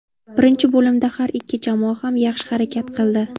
Birinchi bo‘limda har ikki jamoa ham yaxshi harakat qildi.